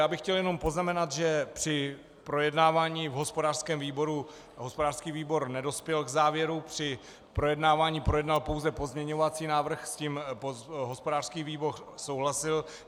Já bych chtěl jenom poznamenat, že při projednávání v hospodářském výboru hospodářský výbor nedospěl k závěru při projednávání, projednal pouze pozměňovací návrh, s tím hospodářský výbor souhlasil.